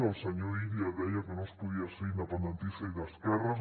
el senyor illa deia que no es podia ser independentista i d’esquerres